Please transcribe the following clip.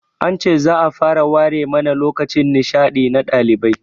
An ce za'a fara ware mana lokacin nishaɗi na ɗalibai